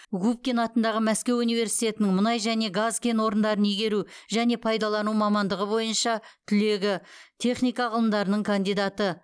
губкин атындағы мәскеу университетінің мұнай және газ кен орындарын игеру және пайдалану мамандығы бойынша түлегі техника ғылымдарының кандидаты